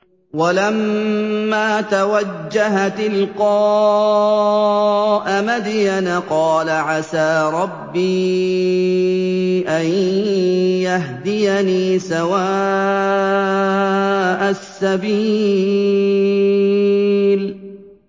وَلَمَّا تَوَجَّهَ تِلْقَاءَ مَدْيَنَ قَالَ عَسَىٰ رَبِّي أَن يَهْدِيَنِي سَوَاءَ السَّبِيلِ